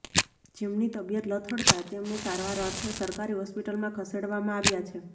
જેમની તબિયત લથડતા તેમને સારવાર અર્થે સરકારી હોસ્પિટલમાં ખસેડવામાં આવ્યા છે